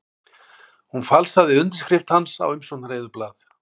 Hún falsaði undirskrift hans á umsóknareyðublað